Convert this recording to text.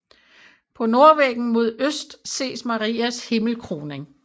På nordvæggen mod øst ses Marias himmelkroning